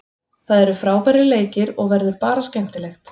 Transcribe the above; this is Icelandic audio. Það eru frábærir leikir og verður bara skemmtilegt.